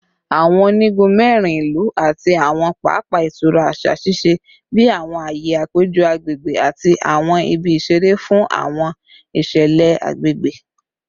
Awọn onigun mẹrin ilu ati awọn papa itura aṣa ṣiṣẹ bi awọn aaye apejọ agbegbe ati awọn ibi isere fun awọn iṣẹlẹ agbegbe